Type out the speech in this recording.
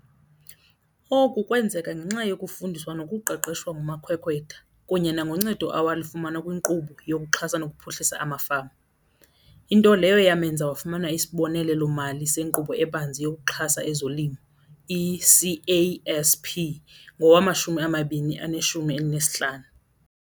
Oku kwenzeka ngenxa yokufundiswa nokuqeqeshwa ngumakhwekhwetha kunye nangoncedo awalifumana kwiNkqubo yokuXhasa nokuPhuhlisa amaFama, into leyo yamenza wafumana isibonelelo-mali seNkqubo eBanzi yokuXhasa ezoLimo, i-CASP, ngowama-2015.